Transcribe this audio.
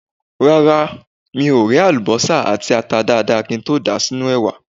Rárá mi ò ré àlùbọ́sà àti ata dada kí n tó dà wọ́n sínú ẹ̀wà.